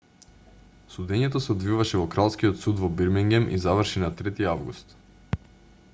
судењето се одвиваше во кралскиот суд во бирмингем и заврши на 3-ти август